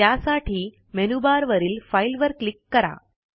त्यासाठी मेनूबारवरील फाइल वर क्लिक करा